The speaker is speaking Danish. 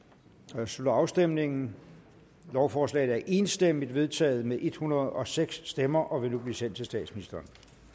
her slutter afstemningen lovforslaget er enstemmigt vedtaget med en hundrede og seks stemmer og vil nu blive sendt til statsministeren